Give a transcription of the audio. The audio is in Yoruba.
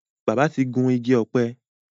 bàbá tí gún Igi ọ̀pẹ.